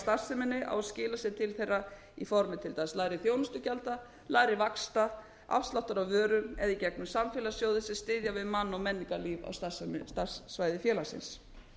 starfseminni á að skila sér til þeirra í formi til dæmis lægri þjónustugjalda lægri vaxta afsláttur af vöru eða í gegnum samfélagssjóði sem styðja við mann og menningarlíf á starfssvæði félagsins